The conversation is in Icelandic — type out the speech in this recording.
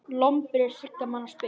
Lomber er þriggja manna spil.